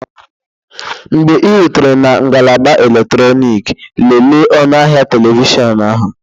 Mgbe ị rutere na ngalaba eletrọnịkị, lelee ọnụ ahịa telivishọn ahụ